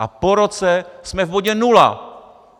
A po roce jsme v bodě nula.